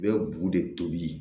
U bɛ bugu de tobi